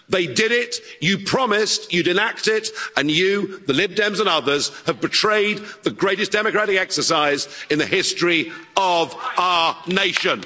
They did it, you promised you'd enact it, and you the Lib Dems and others have betrayed the greatest democratic exercise in the history of our nation.